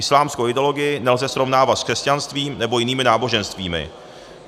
Islámskou ideologii nelze srovnávat s křesťanstvím nebo jinými náboženstvími.